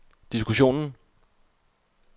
diskussionen